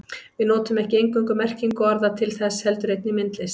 Við notum ekki eingöngu merkingu orða til þess heldur einnig myndlist.